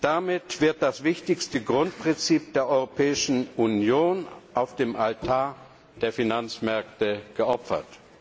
Damit wird das wichtigste Grundprinzip der Europäischen Union auf dem Altar der Finanzmärkte geopfert.